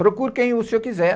Procure quem o senhor quiser.